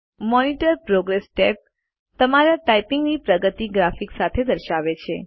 monitor progress tab તમારી ટાઈપીંગની પ્રગતિ ગ્રાફિક સાથે દર્શાવે છે